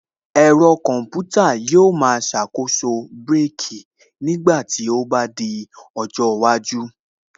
Ẹ̀rọ Kọmputa tí ṣàkóso brake nígbà tí ó bá yẹ yóò rọ́pò bírèkī ní ọjọ́ iwájú